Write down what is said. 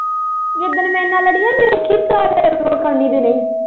ਜਿੱਦਣ ਮੇਰੀਆਂ ਨਾਲ਼ ਲੜੀਆਂ ਮੇਰਾ .